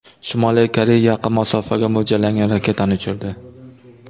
Shimoliy Koreya yaqin masofaga mo‘ljallangan raketani uchirdi.